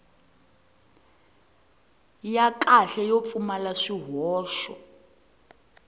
ya kahle yo pfumala swihoxo